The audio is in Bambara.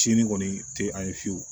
Sinin kɔni tɛ an ye fiyewu